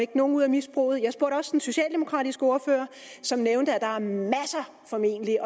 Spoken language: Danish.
nogen ud af misbruget jeg spurgte også den socialdemokratiske ordfører som nævnte at der formentlig